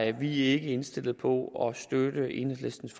er vi ikke indstillet på at støtte enhedslistens